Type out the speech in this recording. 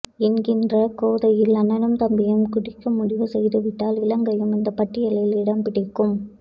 என்கிற கோதாவில் அண்ணனும் தம்பியும் குதிக்க முடிவு செய்துவிட்டால் இலங்கையும் இந்த பட்டியலில் இடம்பிடிக்கும்